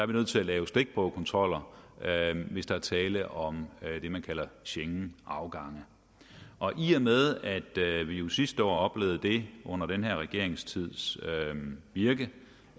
vi nødt til at lave stikprøvekontroller hvis der er tale om det man kalder schengenafgange i og med at vi jo sidste år oplevede det under den her regerings virke